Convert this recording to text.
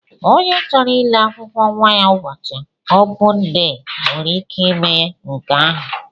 Ònye chọrọ ile akwụkwọ nwa ya ụbọchị opun dee nwere ike ime nke ahụ.